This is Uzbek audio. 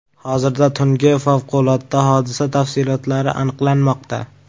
Hozirda tungi favqulodda hodisa tafsilotlari aniqlanmoqda.